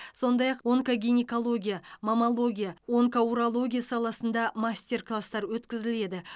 сондай ақ онкогинекология маммология онкоурология саласында мастер кластар өткізіледі